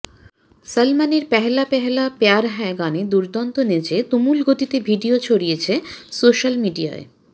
সলমনের পহেলা পহেলা প্যায়র হ্যায় গানে দুরন্ত নেচে তুমুল গতিতে ভিডিও ছড়িয়েছে সোশ্যাল মিডিয়ায়